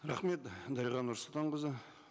рахмет дариға нұрсұлтанқызы